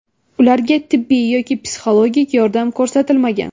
Ularga tibbiy yoki psixologik yordam ko‘rsatilmagan.